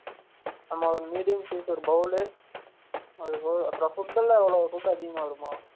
நம்ம medium size ஒரு bowl அது போக அப்ர்ம் food எல்லாம் food அதிகமா வருமா?